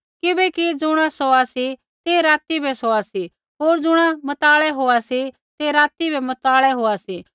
किबैकि ज़ुणा सोआ सी तै राती बै सोआ सी होर ज़ुणा मतवालै होआ सी ते राती बै मतवालै होआ सी